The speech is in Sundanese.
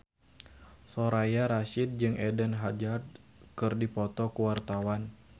Soraya Rasyid jeung Eden Hazard keur dipoto ku wartawan